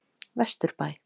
Vesturbæ